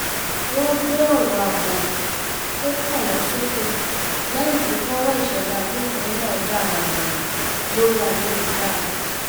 wọ́n gbé ọ̀rọ̀ ààbò tó kàn wọ́n sókè lẹ́yìn tí fọ́nrán ìṣẹ̀lẹ̀ agbófinró náà jà ràìnràìn lórí ayélujára